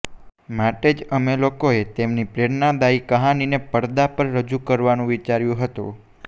માટે જ અમે લોકોએ તેમની પ્રેરણાદાયી કહાનીને પડદા પર રજુ કરવાનું વિચાર્યુ હતું